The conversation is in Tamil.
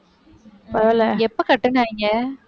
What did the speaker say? பரவாயில்லை. எப்ப கட்டுனாங்க?